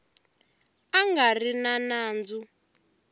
a nga ri na nandzu